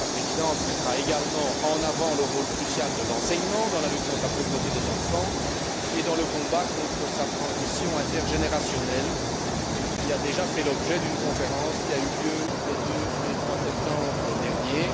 La Présidence mettra également en avant le rôle crucial de l'enseignement dans la lutte contre la pauvreté des enfants et dans le combat contre sa transmission intergénérationnelle, ce qui a déjà fait l'objet d'une conférence qui a eu lieu les 2 et 3 septembre derniers.